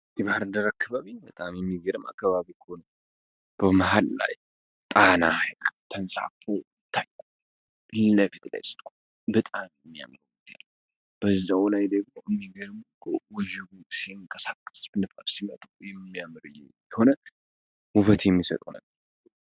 የባህር ዳር አካባቢ በጣም እሚገርም አካባቢ ነዉ ።በመሀል ጣና ተንሳፎ ፊለፊት ላይ ስትቆሙ በጣም ነዉ የሚያምር በዛዉ ላይ የሚገረመዉ እኮ ወጀቡ ሲንቀሳቀ ንፋስ ሲመጣ እንዴት እንደሚያምር እንዴት እንደሚሆን ዉበት የሚሰጠዉ ነዉ።